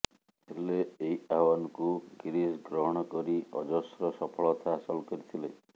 ହେଲେ ଏହି ଆହ୍ବାନକୁ ଗିରିଶ ଗ୍ରହଣ କରି ଅଜସ୍ର ସଫଳତା ହାସଲ କରିଥିଲେ